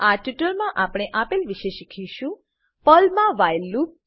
આ ટ્યુટોરીયલમાં આપણે આપેલ વિશે શીખીશું પર્લમા વ્હાઇલ લૂપ